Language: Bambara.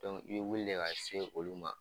i be wulile ka se olu ma